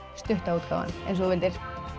stutta útgáfan eins og þú vildir